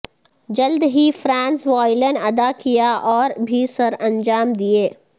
جلد ہی فرانز وایلن ادا کیا اور بھی سرانجام دیئے